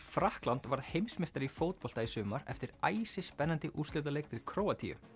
Frakkland varð heimsmeistari í fótbolta í sumar eftir æsispennandi úrslitaleik við Króatíu